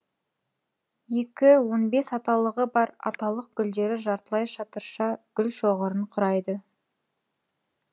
екі он бес аталығы бар аталық гүлдері жартылай шатырша гүлшоғырын құрайды